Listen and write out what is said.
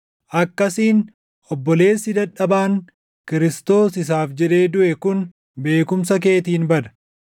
Akkasiin obboleessi dadhabaan Kiristoos isaaf jedhee duʼe kun beekumsa keetiin bada.